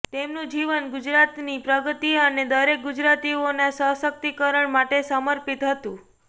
તેમનું જીવન ગુજરાતની પ્રગતિ અને દરેક ગુજરાતીઓના સશક્તિકરણ માટે સમર્પિત હતું